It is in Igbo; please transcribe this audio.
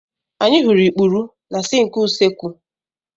Anyị hụrụ ikpuru na sịnkị usekwụ.